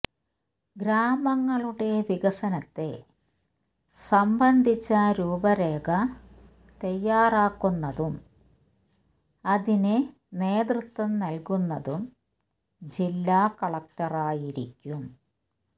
ഗ്രാമങ്ങളുടെ വികസനത്തെ സംബന്ധിച്ച രൂപരേഖ തയ്യാറാക്കുന്നതും അതിന് നേതൃത്വം നല്കുന്നതും ജില്ലാ കളക്ടറായിരിക്കും